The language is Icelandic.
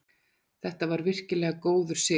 Þetta var virkilega góður sigur